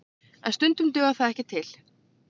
En stundum dugar það ekki til